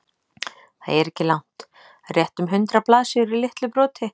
Það er ekki langt, rétt um hundrað blaðsíður í litlu broti.